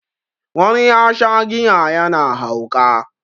wani ya Sha giya yana hauka